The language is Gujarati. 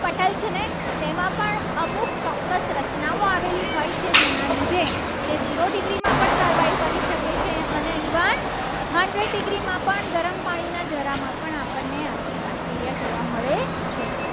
તેમાં પણ અમુક ચોક્કસ રચનાઓ આવેલી હોય છે. જેના લીધે તે જીરો degree માં પણ survive કરી શકે છે. અને evenhundred degree માં પણ ગરમ પાણીના જરામાં પણ આપણને બેક્ટેરિયા જોવા મળે છે.